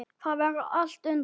Þar verður allt undir.